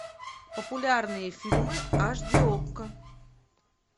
популярные фильмы аш ди окко